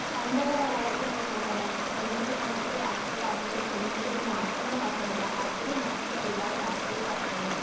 പണ്ടുള്ള കലാലയത്തിൽ ആണെങ്കിൽ നമുക്കറിയാം തെരഞ്ഞെടുപ്പ് സമയത്തില് രാഷ്ട്രീയപാർട്ടികൾ മുന്നോട്ടു വെയ്ക്കുന്ന ആശയങ്ങൾ മാത്രമല്ല അവർ നടത്തുന്ന ഒരുപാട് രാഷ്ട്രീയ ചർച്ചകൾ ഉണ്ട്.